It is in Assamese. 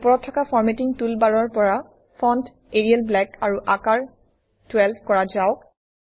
ওপৰত থকা ফৰমেটিং টুলবাৰৰ পৰা ফণ্ট এৰিয়েল ব্লেক আৰু আকাৰ 12 কৰা যাওক